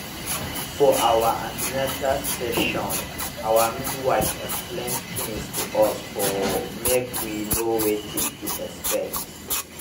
for our an ten atal session our midwife explain tins to us for make we know wetin to expect